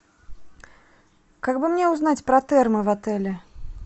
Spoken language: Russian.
как бы мне узнать про термо в отеле